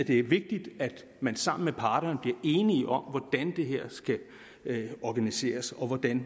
det er vigtigt at man sammen med parterne bliver enige om hvordan det her skal organiseres og hvordan